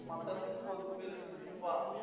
மத்த இடத்துக்குப் போறதுக்கு பேர் ஒரு trip ஆ